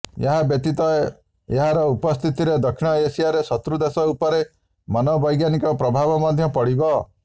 ଏହା ବ୍ୟତୀତ ଏହାର ଉପସ୍ଥିତିରେ ଦକ୍ଷିଣ ଏସିଆରେ ଶତ୍ରୁ ଦେଶ ଉପରେ ମନୋବୈଜ୍ଞାନିକ ପ୍ରଭାବ ମଧ୍ୟ ପଡିବ